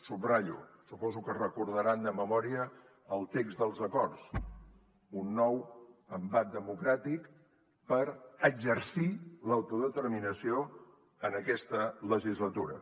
subratllo suposo que recordaran de memòria el text dels acords un nou embat democràtic per exercir l’autodeterminació en aquesta legislatura